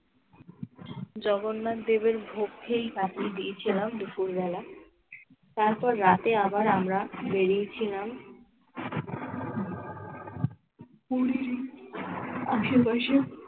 জগন্নাথ দেবের ভোগ খেয়েই কাটিয়ে দিয়েছিলাম দুপুরবেলা। তারপর রাতে আবার আমরা বেরিয়ে ছিলাম পুরির আশেপাশে